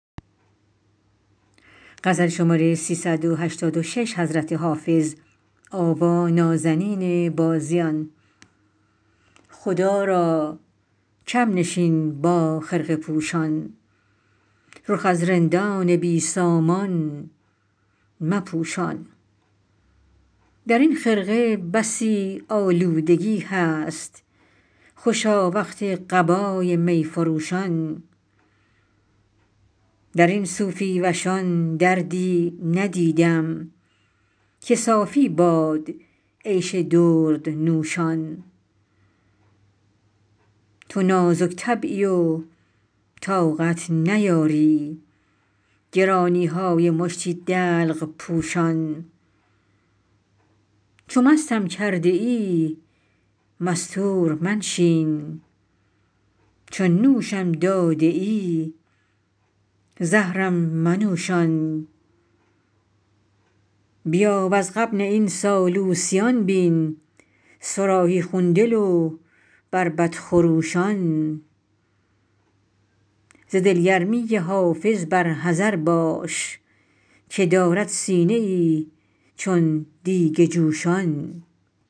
خدا را کم نشین با خرقه پوشان رخ از رندان بی سامان مپوشان در این خرقه بسی آلودگی هست خوشا وقت قبای می فروشان در این صوفی وشان دردی ندیدم که صافی باد عیش دردنوشان تو نازک طبعی و طاقت نیاری گرانی های مشتی دلق پوشان چو مستم کرده ای مستور منشین چو نوشم داده ای زهرم منوشان بیا وز غبن این سالوسیان بین صراحی خون دل و بربط خروشان ز دلگرمی حافظ بر حذر باش که دارد سینه ای چون دیگ جوشان